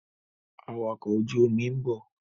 Awakọ̀ ojú omi ń bọ̀.